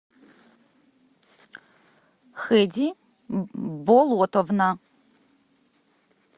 хеди болотовна